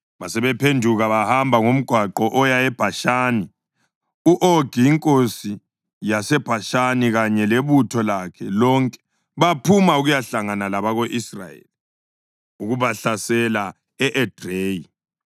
Basebephenduka bahamba ngomgwaqo oya eBhashani. U-Ogi inkosi yaseBhashani kanye lebutho lakhe lonke baphuma ukuyahlangana labako-Israyeli ukubahlasela e-Edreyi.